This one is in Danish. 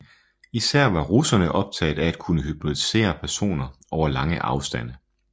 Især var russerne optaget af at kunne hypnotisere personer over lange afstande